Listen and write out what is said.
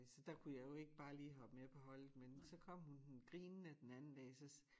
Så der kunne jeg jo ikke bare hoppe med på holdet men så kom hun hun grinende den anden dag så siger